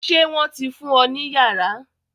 Ṣé wọ́n ti fún ọ ní yàrá?